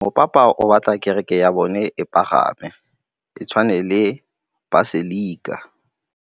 Mopapa o batla kereke ya bone e pagame, e tshwane le paselika.